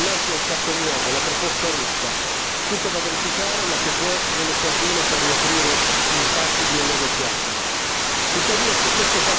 È stato detto che oggi siamo dinanzi a un fatto nuovo la proposta russa, tutta da verificare, ma che può essere l'occasione per riaprire gli spazi di un negoziato.